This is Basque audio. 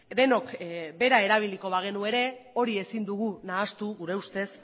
denok bera erabiliko bagenu ere hori ezin dugu nahastu